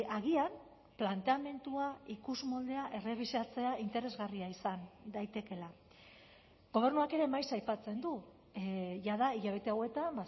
agian planteamendua ikusmoldea errebisatzea interesgarria izan daitekeela gobernuak ere maiz aipatzen du jada hilabete hauetan